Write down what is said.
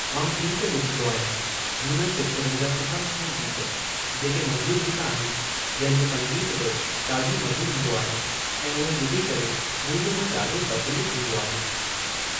मां गीत ॿुधंदो आहियां झूनिनि पिक्चरनि जा सुठा सुठा गीत जेके मधुर गीत आहिनि जंहिं जो संगीतु बि ॾाढो मधुर हूंदो आहे ऐं उहे ॿुधी करे मुंहिंजो मनु ॾाढो प्रफ़ुल्लित थींदो आहे।